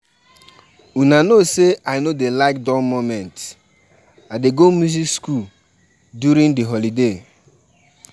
My family still dey observe our traditional beliefs upon sey na modern-day.